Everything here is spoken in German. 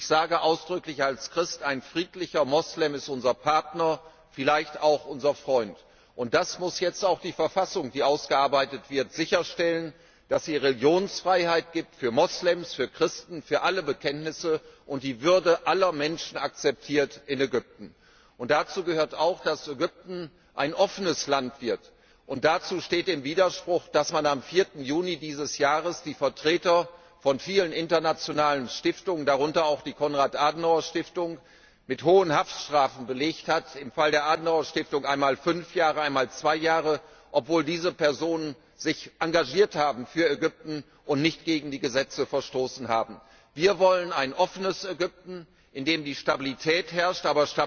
Und ich sage ausdrücklich als Christ, ein friedlicher Muslim ist unser Partner, vielleicht auch unser Freund. Das muss jetzt auch die Verfassung, die ausgearbeitet wird, sicherstellen, dass es Religionsfreiheit gibt für Muslime, für Christen, für alle Bekenntnisse und die Würde aller Menschen in Ägypten akzeptiert wird. Dazu gehört auch, dass Ägypten ein offenes Land wird. Dazu steht im Widerspruch, dass man am 4. Juni dieses Jahres die Vertreter von vielen internationalen Stiftungen, darunter auch die Konrad Adenauer Stiftung, mit hohen Haftstrafen belegt hat im Fall der Adenauer Stiftung einmal fünf Jahre, einmal zwei Jahre, obwohl diese Personen sich für Ägypten engagiert haben und nicht gegen die Gesetze verstoßen haben. Wir wollen ein offenes Ägypten, in dem Stabilität herrscht.